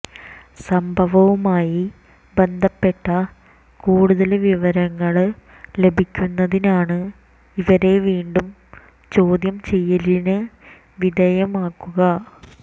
സംഭവവുമായി ബന്ധപ്പെട്ട കൂടുതല് വിവരങ്ങള് ലഭിക്കുന്നതിനാണ് ഇവരെ വീണ്ടും ചോദ്യം ചെയ്യലിന് വിധേയമാക്കുക